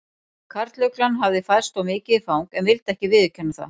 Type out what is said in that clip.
Karluglan hafði færst of mikið í fang en vildi ekki viðurkenna það.